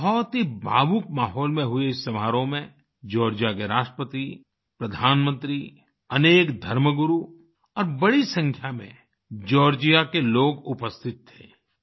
बहुत ही भावुक माहौल में हुए इस समारोह में जॉर्जिया के राष्ट्रपति प्रधानमंत्री अनेक धर्म गुरु और बड़ी संख्या में जॉर्जिया के लोग उपस्थित थे